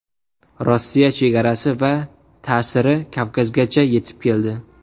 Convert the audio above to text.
Rossiya chegarasi va ta’siri Kavkazgacha yetib keldi.